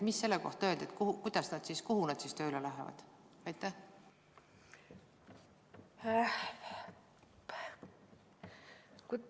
Mis selle kohta öeldi, kuhu nad siis tööle lähevad?